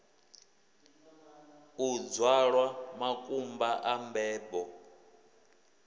u dzwalwa makumba a mbebo